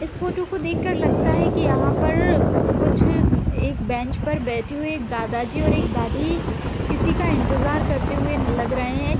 इस फोटो को देख कर लगता है कि यहाँ पर कुछ एक बेंच पर बैठे हुए एक दादाजी और एक दादी किसी का इंतजार करते हुए लग रहे है।